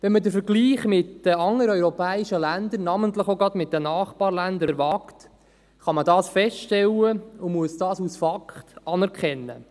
Wenn man den Vergleich mit anderen europäischen Ländern, namentlich auch gerade mit den Nachbarländern, wagt, kann man dies feststellen und muss es als Fakt anerkennen.